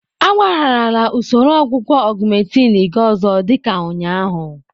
Agbagharala usoro ọgwụgwọ Augmentin gị ọzọ dị ka ụnyaahụ.